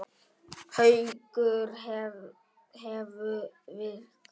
Haukur hefðu veikst.